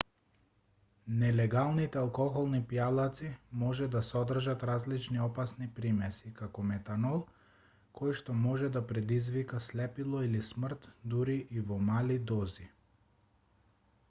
нелегалните алкохолни пијалаци може да содржат различни опасни примеси како метанол којшто може да предизвика слепило или смрт дури и во мали дози